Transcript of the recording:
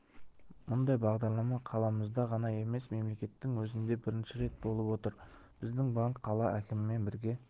мұндай бағдарлама қаламызда ғана емес мемлекеттің өзінде бірінші рет болып отыр біздің банк қала әкімімен бірге